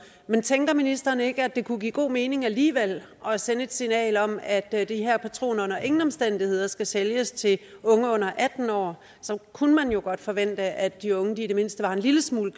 men tænker ministeren ikke at det kunne give god mening alligevel at sende et signal om at at de her patroner under ingen omstændigheder skal sælges til unge under atten år så kunne man jo godt forvente at de unge i det mindste var en lille smule